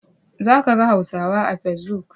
Za a ga Hausawa a facebook.